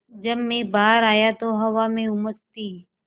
जब मैं बाहर आया तो हवा में उमस थी